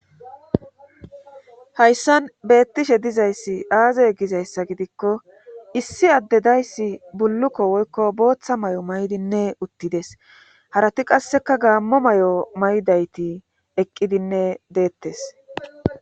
Hayssan beettishshe dizayssi aaze gizayssa gidikko issi addedayssi bullukko woykko booththa may'o may'dinne uttides harati qasseka gaammo may'o maydayti eqqidinne deettees